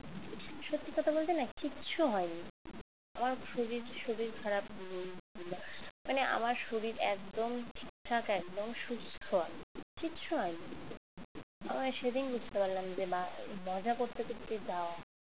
কিচ্ছু হয়নি আমার শরীর শরীর খারাপ হয়নি মানে আমার শরীর একদম ঠিকঠাক একদম সুস্থ আমি কিচ্ছু হয়নি আমার সেদিন বুঝতে পারলাম যে বা মজা করতে করতে যাওয়া